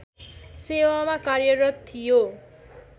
सेवामा कार्यरत थियो